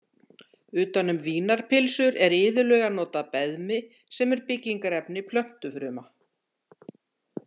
Utan um vínarpylsur er iðulega notað beðmi sem er byggingarefni plöntufruma.